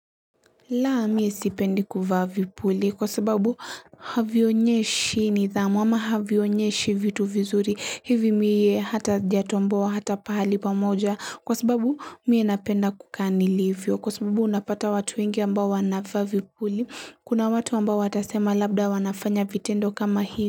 La mi sipendi kuvaa vipuli kwa sababu havyonyeshi nidhamu ama havyonyeshi vitu vizuri hivi mie hata sijatoboa hata pahali pamoja kwa sababu mie napenda kukaa nilivyo kwa sababu unapata watu wengi ambao wanavaa vipuli kuna watu ambao watasema labda wanafanya vitendo kama hivi.